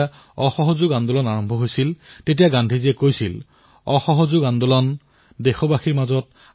এয়া সৰু সৰু লৰাছোৱালীৰ বাবে এনে এক বাৰ্তা এপ যত গীত আৰু কাহিনীৰ জৰিয়তে কথাইকথাই শিশুসকলে অংক আৰু বিজ্ঞানৰ বহু কথা শিকিব পাৰে